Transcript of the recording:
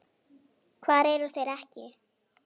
Hvar eru þeir ekki?